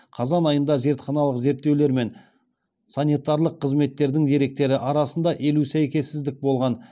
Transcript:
қазан айында зертханалық зерттеулер мен санитарлық қызметтердің деректері арасында елу сәйкессіздік болған